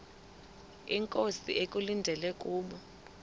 inkosi ekulindele kubo